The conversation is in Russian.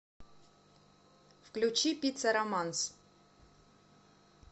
включи пицца романс